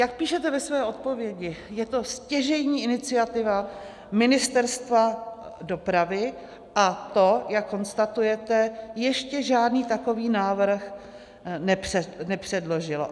Jak píšete ve své odpovědi, je to stěžejní iniciativa Ministerstva dopravy, a to, jak konstatujete, ještě žádný takový návrh nepředložilo.